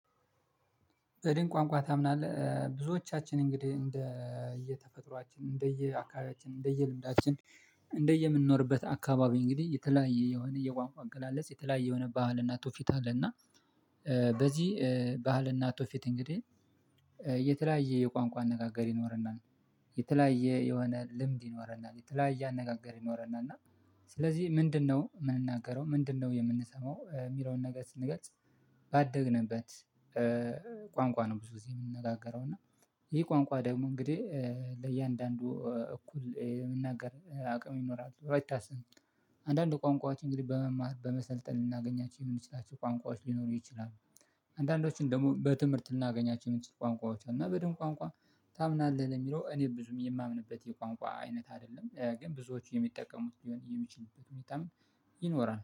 በድን ቋንቋ ታምናለህ? ብዙዎቻችን እንግዲህ እንደ እንደየ አካባቢያችን እንደየ ልምዳችን እንደየ የምንኖርበት አካባቢ እንግዲህ የተለያየ የሆነ የቋንቋ አገላለጽ የተለያየ የሆነ ባህል እና ትውፊት አለና በዚህ ባህልና ቱፊት እንግዲህ የተለያየ የቋንቋ አነጋገር ይኖርናል የተለያየ የሆነ ልምድ ይኖረናል የተለያየ አነጋገር ይኖረናል እና ስለዚህ ምንድነው የምንናገረው ምንድነው የምንሰማው የሚለውን ነገር ስንገልጽ ባደግንበት ቋንቋ ነው ብዙ ጊዜ የምንነጋገረው እና ይሄ ቋንቋ ደግሞ እንግዲህ ለእያንዳንዱ እኩል የምናገር አቅም ይኖራሉ ራይት አስ አንዳንድ ቋንቋዎች እንግዲህ በመማር በመሰልጠን ልናገኛቸው የምንችላቸው ቋንቋዎች ሊኖሩ ይችላሉ አንዳንዶቹን ደግሞ በትምህርት ልናገኛቸው የምትችሉ ቋንቋዎች አሉ እና በደንብ ቋንቋ ታምናለህ ለሚለው እኔ ብዙም የማምንበት የቋንቋ አይነት አይደለም ግን ብዙዎቹ የሚጠቀሙት ሊሆን የሚችሉበት ሁኔታም ይኖራል